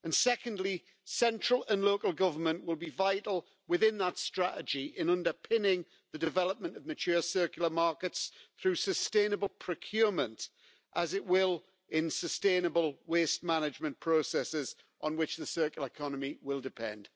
Secondly, central and local government will be vital, within that strategy, in underpinning the development of mature circular markets through sustainable procurement, as it will in sustainable waste management processes on which the circular economy will depend.